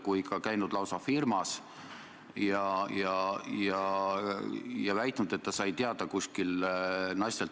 Jõuame teise küsimuse juurde, mille esitab Indrek Saar ja millele vastab peaminister Jüri Ratas.